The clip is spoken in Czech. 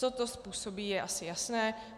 Co to způsobí, je asi jasné.